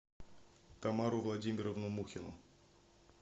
тамару владимировну мухину